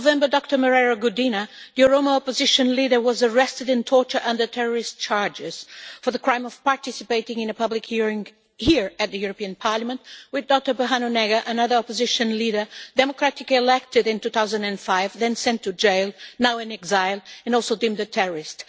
Last November, Dr Merera Gudina, the Oromo opposition leader, was arrested and tortured under terrorist charges for the crime of participating in a public hearing here, at the European Parliament, with Dr Berhanu Negra, another opposition leader democratically elected in 2005, then sent to jail, now in exile, and also deemed a terrorist.